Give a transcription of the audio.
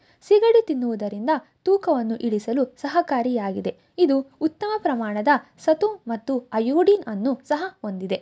ಸಿಗಡಿ ತಿನ್ನುವುದರಿಂದ ತೂಕವನ್ನು ಇಳಿಸಲು ಸಹಕಾರಿಯಾಗಿದೆ. ಇದು ಉತ್ತಮ ಪ್ರಮಾಣದ ಸತು ಮತ್ತು ಅಯೋಡಿನ್ ಅನ್ನು ಸಹ ಹೊಂದಿದೆ.